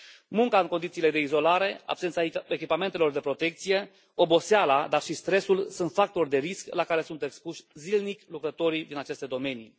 Munca în condiții de izolare, absența echipamentelor de protecție, oboseala dar și stresul sunt factori de risc la care sunt expuși zilnic lucrătorii din aceste domenii.